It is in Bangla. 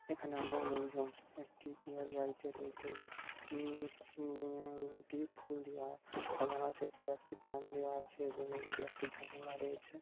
এখানে অনেক লোকজন একটি পুজার বাড়িতে রয়েছে এবং উম-উম-উম এটি ফুল দিয়া সাজানো রয়েছে |ওপরে একটি ফ্যান দেওয়া আছে এবং রুমে একটি জানলা রয়েছে ।